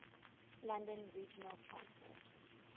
london regional transport